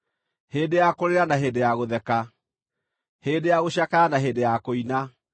hĩndĩ ya kũrĩra na hĩndĩ ya gũtheka, hĩndĩ ya gũcakaya na hĩndĩ ya kũina,